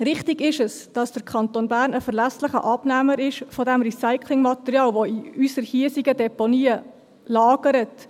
Richtig ist es, dass der Kanton Bern ein verlässlicher Abnehmer dieses Recyclingmaterials ist, das in unseren hiesigen Deponien lagert.